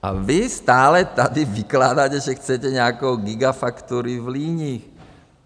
A vy stále tady vykládáte, že chcete nějakou gigafactory v Líních.